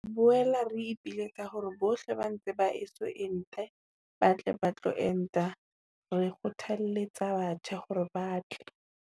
"Re boela re ipiletsa hore bohle ba ntse ba eso ente ba tle ba tlo enta. Re kgothalletsa batjha hore ba tle."